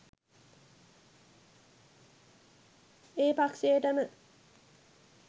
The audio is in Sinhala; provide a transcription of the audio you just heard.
ඒ පක්ෂයටම